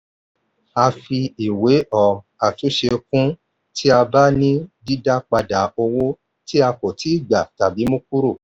a fi ìwé um àtúnṣe kún un tí a bá ní dídá padà owó tí a kò tíì gbà tàbí ìmúkúrò.